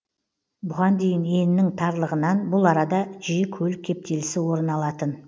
бұған дейін енінің тарлығынан бұл арада жиі көлік кептелісі орын алатын